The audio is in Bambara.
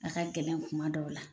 A ka gɛlɛn kuma dɔw la.